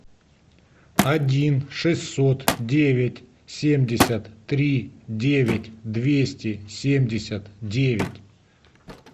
один шестьсот девять семьдесят три девять двести семьдесят девять